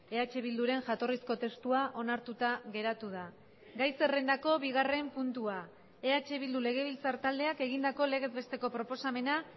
eh bilduren jatorrizko testua onartuta geratu da gai zerrendako bigarren puntua eh bildu legebiltzar taldeak egindako legez besteko proposamena